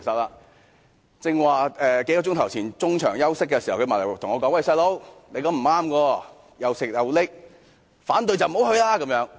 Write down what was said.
他在幾小時前中場休息時對我說："'細佬'，你這樣是不對的，'又食又拎'，反對就不要去乘坐高鐵。